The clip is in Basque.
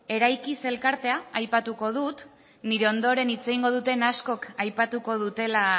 eraikiz elkartea aipatuko dut nire ondoren hitz egingo duten askoz aipatuko dutela